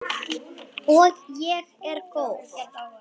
Og ég er góð.